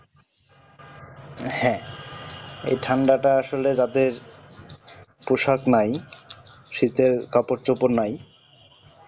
হ্যাঁ এই ঠান্ডাটা আসলে যাদের পোশাক নাই শীতের কাপড় চোপড় নাই